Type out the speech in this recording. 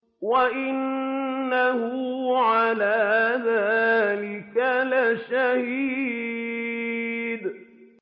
وَإِنَّهُ عَلَىٰ ذَٰلِكَ لَشَهِيدٌ